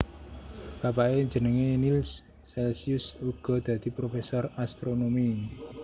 Bapake jenenge Nills Celcius uga dadi professor astronomi